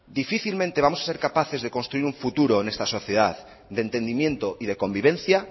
difícilmente vamos a ser capaces de construir un futuro en esta sociedad de entendimiento y de convivencia